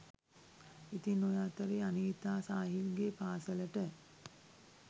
ඉතින් ඔය අතරේ අනීතා සාහිල්ගේ පාසලට